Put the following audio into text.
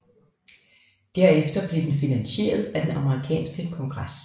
Derefter blev den finansieret af den amerikanske kongres